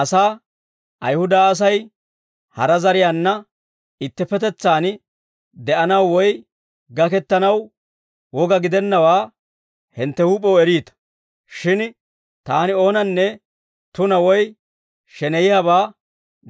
asaa, «Ayihuda Asay hara zariyaanna ittippetetsaan de'anaw, woy gakettanaw woga gidennawaa hintte huup'ew eriita; shin taani oonanne tunaa woy sheneyiyaabaa